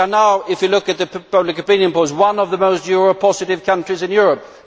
We are now, if you look at the public opinion polls, one of the more Euro positive countries in Europe.